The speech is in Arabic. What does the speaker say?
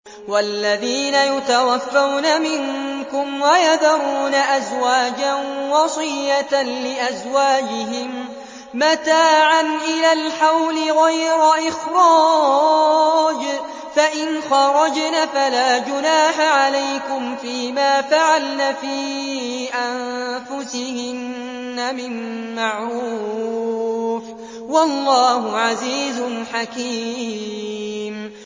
وَالَّذِينَ يُتَوَفَّوْنَ مِنكُمْ وَيَذَرُونَ أَزْوَاجًا وَصِيَّةً لِّأَزْوَاجِهِم مَّتَاعًا إِلَى الْحَوْلِ غَيْرَ إِخْرَاجٍ ۚ فَإِنْ خَرَجْنَ فَلَا جُنَاحَ عَلَيْكُمْ فِي مَا فَعَلْنَ فِي أَنفُسِهِنَّ مِن مَّعْرُوفٍ ۗ وَاللَّهُ عَزِيزٌ حَكِيمٌ